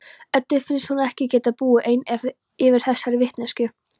Eddu finnst hún ekki geta búið ein yfir þessari vitneskju.